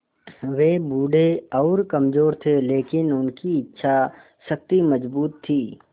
वे बूढ़े और कमज़ोर थे लेकिन उनकी इच्छा शक्ति मज़बूत थी